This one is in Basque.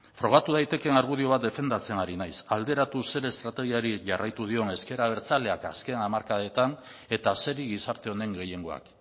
frogatu daitekeen argudio bat defendatzen ari naiz alderatu zer estrategiari jarraitu dion ezker abertzaleak azken hamarkadetan eta zeri gizarte honen gehiengoak